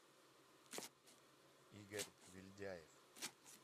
игорь вельдяев